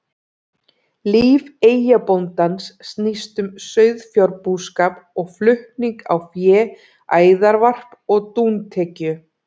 Líf eyjabóndans snýst um sauðfjárbúskap og flutning á fé, æðarvarp og dúntekju.